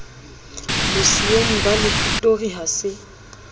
bosiyong ba lefitori ha se